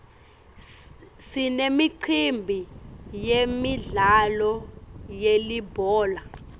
sinemicimbi yemidlalo yelibhola